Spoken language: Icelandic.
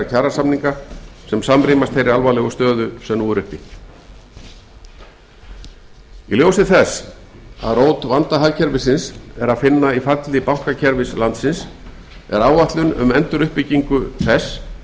kjarasamninga sem samrýmast þeirri alvarlegu stöðu sem nú er uppi í ljósi þess að rót vanda hagkerfisins er að finna í falli bankakerfi landsins er áætlun um enduruppbyggingu þess